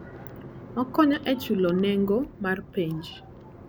Okonyo e chulo nengo mar penj.